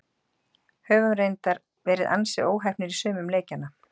Höfum reyndar verið ansi óheppnir í sumum leikjanna.